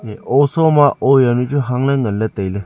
ow soma ow jaunu chu hangla nganley tailey.